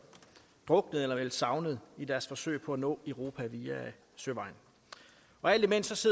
druknet eller meldt savnet i deres forsøg på at nå europa via søvejen alt imens